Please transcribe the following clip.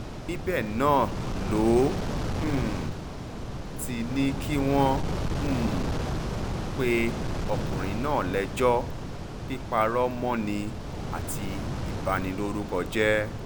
níbẹ̀ náà ló um ti ní kí wọ́n um pe ọkùnrin náà lẹ́jọ́ píparọ́ mọ́ ni àti ìbanilórúkọ jẹ́